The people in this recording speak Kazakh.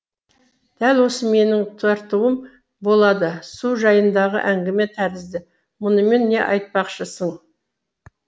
дәл осы менің тартуым болады су жайындағы әңгіме тәрізді мұнымен не айтпақшысың